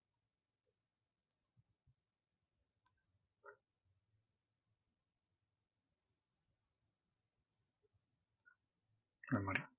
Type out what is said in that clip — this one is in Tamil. அந்த மாதிரி